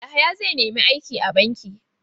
Yahaya zai nemi aiki a banki.